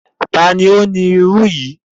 Ta ni ó ni irú yìí?